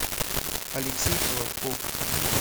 алексей холодков